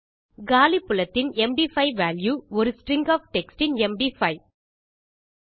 காலி புலத்தின் MD5 value ஒரு string of text in MD five